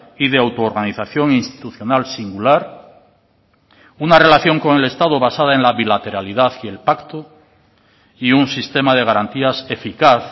y de auto organización institucional singular una relación con el estado basada en la bilateralidad y el pacto y un sistema de garantías eficaz